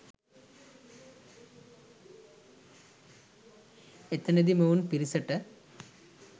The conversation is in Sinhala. එතනදි මොවුන් පිරිසට